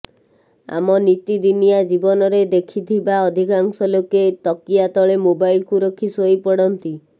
ଆମ ନିତିଦିନିଆ ଜୀବନରେ ଦେଖିଥିବା ଅଧିକାଂଶ ଲୋକେ ତକିଆ ତଳେ ମୋବାଇଲ କୁ ରଖି ସୋଇପଡ଼ନ୍ତି